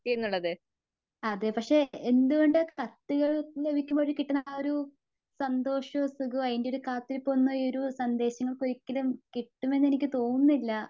അതെ പക്ഷേ എന്തുകൊണ്ടാ കത്തുകൾ ലഭിക്കുമ്പോൾ കിട്ടുന്ന ആ ഒരു സന്തോഷവും സുഖവും ആയിന്റൊരു കാത്തിരിപ്പൊന്നും ഈ ഒരു സന്ദേശങ്ങൾക്കൊരിക്കലും കിട്ടുമെന്ന് എനിക്ക് തോന്നുന്നില്ല.